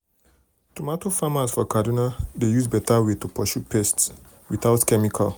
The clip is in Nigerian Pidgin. tomato farmers for kaduna dey use better way to pursue pest without chemical.